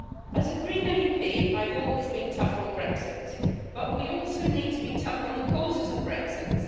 As a Green MEP I've always been tough on Brexit but we also need to be tough on the causes of Brexit.